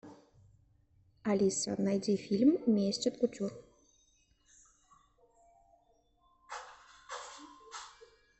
алиса найди фильм месть от кутюр